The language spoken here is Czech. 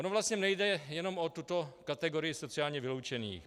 Ono vlastně nejde jenom o tuto kategorii sociálně vyloučených.